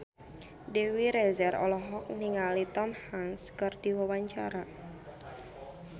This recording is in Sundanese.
Dewi Rezer olohok ningali Tom Hanks keur diwawancara